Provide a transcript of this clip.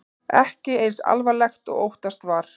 Ekki eins alvarlegt og óttast var